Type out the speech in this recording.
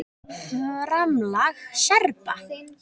FRAMLAG SERBA